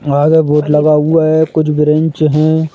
आगे वोट लगा हुआ है कुछ ब्रांच हैं।